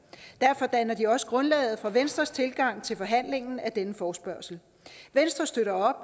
derfor danner de også grundlaget for venstres tilgang til forhandlingen af denne forespørgsel venstre støtter